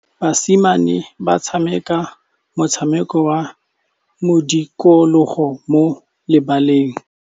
Basimane ba tshameka motshameko wa modikologô mo lebaleng.